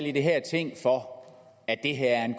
i det her ting for at det her er en